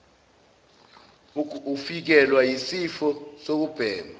ufikelwa yisifiso sokubhema